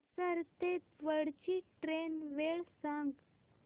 हडपसर ते दौंड ची ट्रेन वेळ सांग